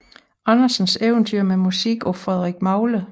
Andersens eventyr med musik af Frederik Magle